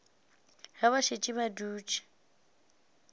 ge ba šetše ba dutše